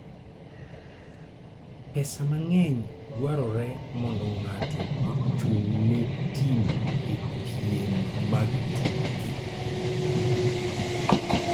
Pesa mang'eny dwarore mondo ng'ato ochung' ne tim e piem mag tuke.